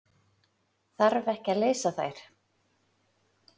Þarf ekki að fara leysa þær?